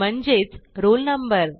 म्हणजेच roll number